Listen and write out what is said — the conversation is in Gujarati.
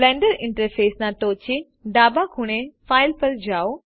બ્લેન્ડર ઈન્ટરફેસના ટોચે ડાબા ખૂણે Fileપર જાઓ